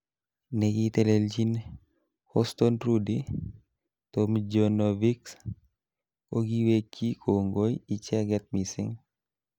Nekiteleljin HoustonRudy Tomjanovixh kokiwekyi kongoi icheket missing.